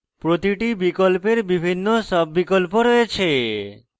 প্রতিটি বিকল্পের বিভিন্ন সাব বিকল্প রয়েছে